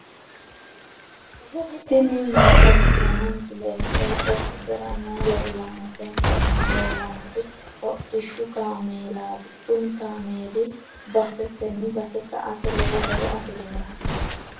tini maa xawissanno misileeti? qooxeessisera may leellanno? tenne aana leellannori hodhishshu kaameelaati kuni kaameeli basetenni base sa"ate lowo horo afirinoho.